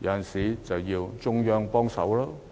往往要中央協助。